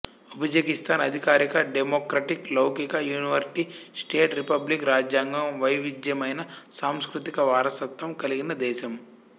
ఉజ్బెకిస్థాన్ అధికారిక డెమొక్రటిక్ లౌకిక unitary state republic రాజ్యాంగం వైవిధ్యమైన సాంస్కృతిక వారసత్వం కలిగిన దేశం